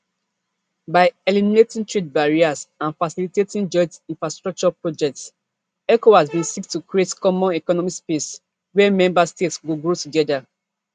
by eliminating trade barriers and facilitating joint infrastructure projects ecowas bin seek to create common economic space wia member states go grow together